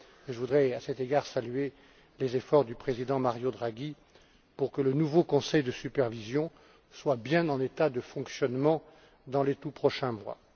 Je voudrais, à cet égard, saluer les efforts du président Mario Draghi visant à ce que le nouveau conseil de supervision soit bien en état de fonctionnement dans les tout prochains mois.